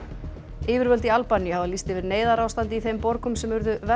yfirvöld í Albaníu hafa lýst yfir neyðarástandi í þeim borgum sem urðu verst